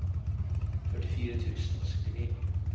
førtifire tusen og syttini